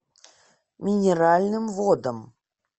минеральным водам